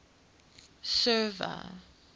server